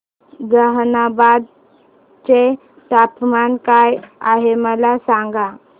जहानाबाद चे तापमान काय आहे मला सांगा